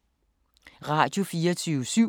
Radio24syv